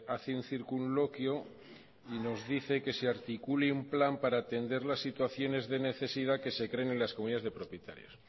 hace un circunloquio y nos dice que se articule un plan para atender las situaciones de necesidad que se creen en las comunidades de propietarios